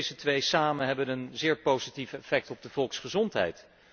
En deze twee samen hebben een zeer positief effect op de volksgezondheid.